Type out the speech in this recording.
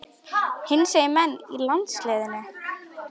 Hinsegin menn í landsliðinu?